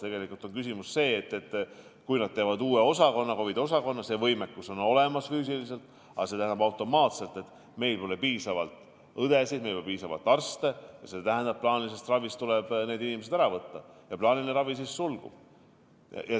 Tegelikult on küsimus selles, et kui nad teevad uue osakonna, COVID-i osakonna, siis on füüsiline võimekus küll olemas, aga see tähendab automaatselt seda, et meil pole piisavalt õdesid, meil pole piisavalt arste, ja see omakorda tähendab seda, et plaanilisest ravist tuleb need inimesed ära võtta ja plaaniline ravi sulgub.